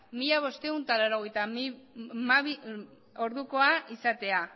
mila bostehun eta laurogeita hamabi ordukoa izatea